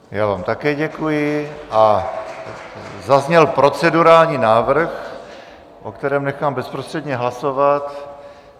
Já vám také děkuji a zazněl procedurální návrh, o kterém nechám bezprostředně hlasovat.